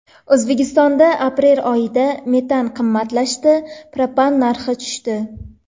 O‘zbekistonda aprel oyida metan qimmatlashdi, propan narxi tushdi.